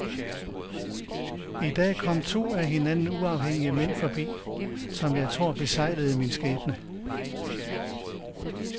I dag kom to af hinanden uafhængige mænd forbi, som jeg tror besegler min skæbne.